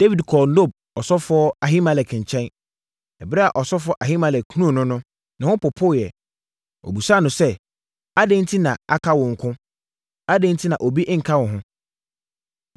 Dawid kɔɔ Nob ɔsɔfoɔ Ahimelek nkyɛn. Ɛberɛ a ɔsɔfoɔ Ahimelek hunuu no no, ne ho popoeɛ. Ɔbisaa no sɛ, “Adɛn enti na aka wo nko? Adɛn enti na obi nka wo ho?”